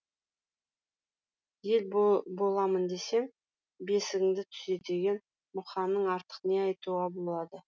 ел боламын десең бесігіңді түзе деген мұқаңнан артық не айтуға болады